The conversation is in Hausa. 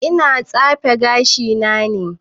E ina tsefe gashi na ne